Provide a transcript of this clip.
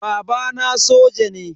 Babana soja ne.